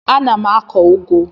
Ana m akụ ụgụ.